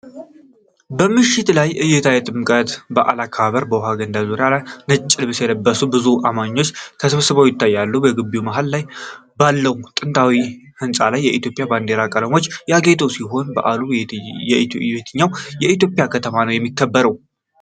የምሽት ላይ እይታ የጥምቀት በዓል አከባበር በውሃ ገንዳ ዙሪያ ነጭ ልብስ የለበሱ ብዙ አማኞች ተሰብስበው ይታያል። በግቢው መሃል ባለው ጥንታዊ ሕንፃ ላይ የኢትዮጵያ ባንዲራ ቀለሞች ያጌጡ ሲሆን በዓል በየትኛው የኢትዮጵያ ከተማ ነው የሚከበረው?